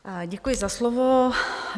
Děkuji za slovo.